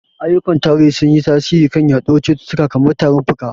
Ayyukan tarihi sun yi tasiri kan yaduwar cututtuka kamar tarin fuka.